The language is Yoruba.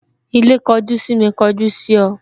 Ilé kojú sími kọjú sí ọ